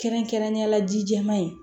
Kɛrɛnkɛrɛnnenyala ji jɛman in